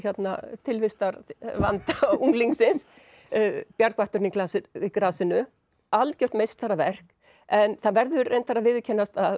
tilvistarvanda unglingsins bjargvætturinn í grasinu algjört meistaraverk en það verður reyndar að viðurkennast að